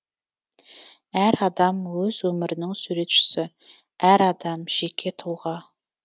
әр адам өз өмірінің суретшісі әр адам жеке тұлға